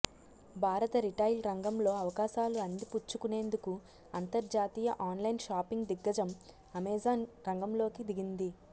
భారత రిటైల్ రంగంలో అవకాశాలు అందిపుచ్చుకునేందుకు అంతర్జాతీయ ఆన్లైన్ షాపింగ్ దిగ్గజం అమెజాన్ రంగంలోకి దిగింది